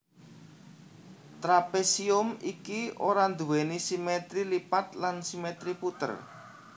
Trapésium iki ora nduwèni simètri lipat lan simètri puter